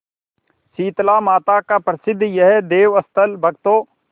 शीतलामाता का प्रसिद्ध यह देवस्थल भक्तों